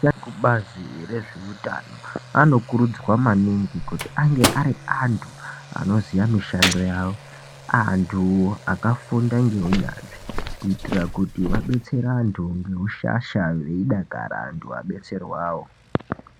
Bazi rezveutano anokurudzirwa maningi kuti ange ari antu anosiya mishando yavo. Antu akafunda ngeunyanzi kuitira kuti abetsere antu ngeushasha veidakara vabetserwavo.